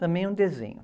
Também é um desenho.